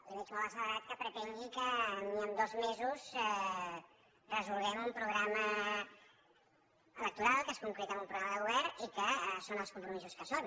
li veig molt accelerat que pretengui que ni amb dos mesos resolguem un programa electoral que es concreta en un programa de govern i que són els compromisos que són